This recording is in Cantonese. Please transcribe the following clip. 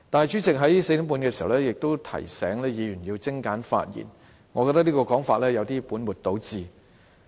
主席在4時30分也提醒議員要精簡發言，我認為這種說法有點本末倒置。